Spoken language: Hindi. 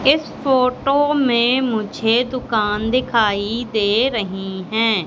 इस फोटो में मुझे दुकान दिखाई दे रही है।